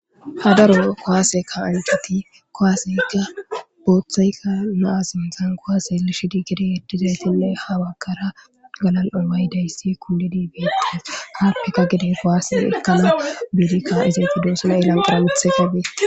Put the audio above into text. Hadaro kowaaseka ancheti kowaaseykka booththaykka naasin dzaan kowaase lishi di gede eddizaytinne hawakara galal7omay dayssi kuli diibietis haarfeka gede kowaase ekkana biidikka izeeti duosuna ilanqara mithe kabee.